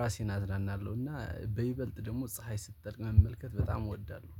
ራሴን አዝናናለሁ እና በይበልጥ ደግሞ ፀሀይ ስትጠልቅ መመልከት በጣም እወዳለሁ